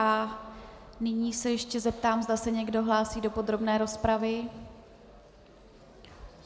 A nyní se ještě zeptám, zda se někdo hlásí do podrobné rozpravy.